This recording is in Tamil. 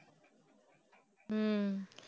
ஹம்